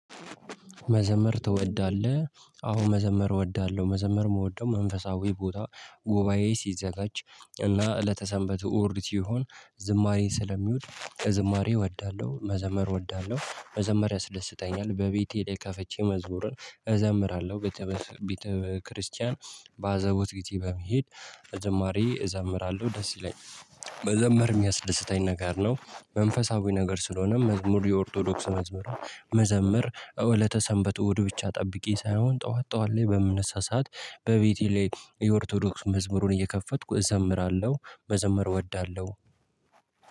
መዘመር ትወዳለህ? አዎ መዘመር እወዳለሁ መዘመር የምወደው መንፈሳዊ ቦታ ጉባኤ ሲዘጋጅ እና እለተ ሰንበት እሁድ ይሁን ዝማሬ ስለሚውድ ከዝማሬ እወዳለሁ መዘመር እወዳለሁ መዘመር ያስደስተኛል በቤቴ ላይ ከፈቼ መዝሙርን እዘምራለሁ። ቤተ ክርስቲያን በአዘቦት ጊዜ በመሄድ ዝማሬ እዘምራለሁ። ደስ ይለኛል መዘመር የሚያስደስተኝ ነገር ነው። መንፈሳዊ ነገር ስለሆነም መዝሙር የኦርቶዶክስ መዝሙር። መዘመር እለተ ሰንበት እሁድ ብቻ ጠብቄ ሳይሆን ጠዋት ጠዋት ላይ በምነሳ ሰዓት በቤቴ ላይ የኦርቶዶክስ መዝሙሩን እየከፈትኩ እዘምራለሁ። በዘመር እወዳለሁ።